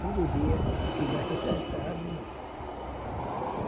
Tudo dia, de manhã, tarde e noite.